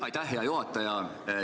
Aitäh, hea juhataja!